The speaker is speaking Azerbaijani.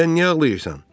Sən niyə ağlayırsan?